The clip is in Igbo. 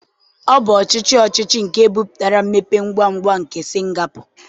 Ọ bụ ọchịchị ọchịchị nke butere mmepe ngwa ngwa nke Singapọ